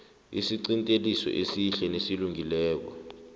isiqinteliso esihle nesilungileko